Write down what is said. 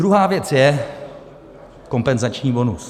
Druhá věc je kompenzační bonus.